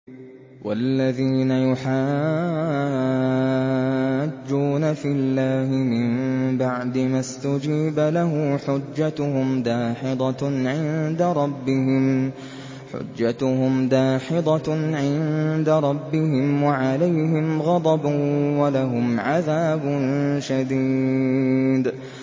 وَالَّذِينَ يُحَاجُّونَ فِي اللَّهِ مِن بَعْدِ مَا اسْتُجِيبَ لَهُ حُجَّتُهُمْ دَاحِضَةٌ عِندَ رَبِّهِمْ وَعَلَيْهِمْ غَضَبٌ وَلَهُمْ عَذَابٌ شَدِيدٌ